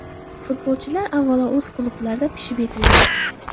Futbolchilar avvalo o‘z klublarida pishib yetiladi.